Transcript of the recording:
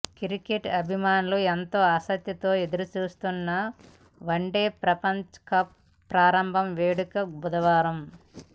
cricket అభిమానులు ఎంతో ఆసక్తితో ఎదురుచూస్తున్న వన్డే ప్రపంచకప్ ప్రారంభ వేడుకలు బుధవారం